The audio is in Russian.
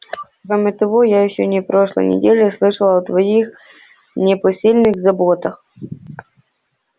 кроме того я ещё на прошлой неделе слышала о твоих непосильных заботах